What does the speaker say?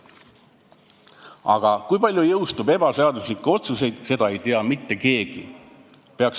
Aga kui palju jõustub ebaseaduslikke otsuseid, seda ei tea mitte keegi.